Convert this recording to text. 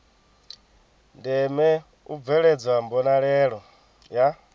ndeme u bveledzwa mbonalelo ya